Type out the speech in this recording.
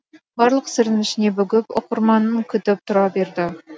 барлық сырын ішіне бүгіп оқырманын күтіп тұра берді